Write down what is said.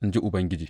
in ji Ubangiji.